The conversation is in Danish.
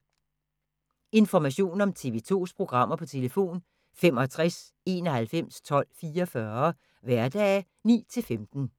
Information om TV 2's programmer: 65 91 12 44, hverdage 9-15.